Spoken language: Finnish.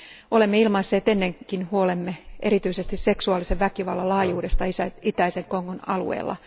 Olemme ilmaisseet ennenkin huolemme erityisesti seksuaalisen väkivallan laajuudesta itäisen Kongon alueella.